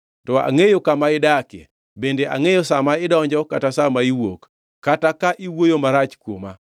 “ ‘To angʼeyo kama idakie, bende angʼeyo sa ma idonjo kata sa ma iwuok, kata kaka iwuoyo marach kuoma.